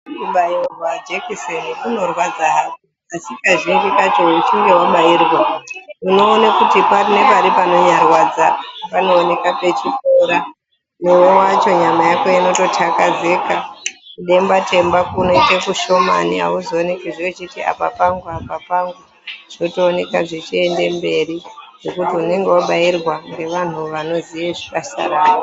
Kubairwa jekiseni kunorwadza asi kazhinji kana uchinge wabairwa unoona kuti pari nepari panenge pachirwadza panooneka pachipora, newe wacho nyama yako ino takazeka kudemba temba kunoita kushoma hauzooneki zcve wechiti apa pangu apa pangu zvitooneka zvichienda mberi ngekuti unenge wabairwa nevantu vanoziya zvaka......